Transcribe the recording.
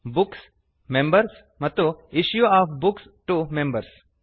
books members ಮತ್ತು issue of books to members